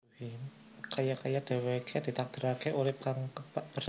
Kaya kaya dhèwèké ditakdiraké urip kang kebak perjuangan